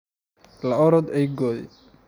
la orda eygoodii.